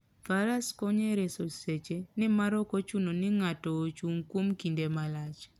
Faras konyo e reso seche, nimar ok ochuno ni ng'ato ochung' kuom kinde malach.